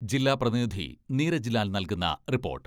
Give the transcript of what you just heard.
ജില്ലാ പ്രതിനിധി നീരജ് ലാൽ നൽകുന്ന റിപ്പോർട്ട്.....